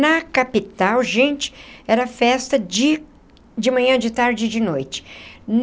Na capital, gente, era festa de de manhã, de tarde e de noite.